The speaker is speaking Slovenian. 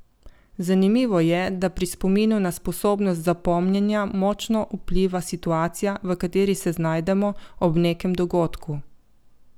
Zanimivo je, da pri spominu na sposobnost zapomnjenja močno vpliva situacija, v kateri se znajdemo ob nekem dogodku.